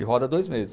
E roda dois meses.